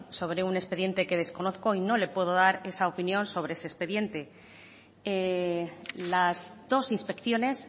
sobre un expediente que desconozco y no le puedo dar esa opinión sobre ese expediente las dos inspecciones